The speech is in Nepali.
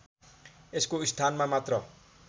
यसको स्थानमा मात्र